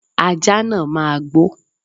Ajá náà máa gbó.